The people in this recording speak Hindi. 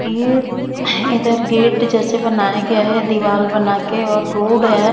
ये इधर गेट जैसे बनाया गया है दीवाल बना के और रोड है।